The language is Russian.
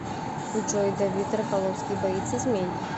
джой давид рафаловский боится змей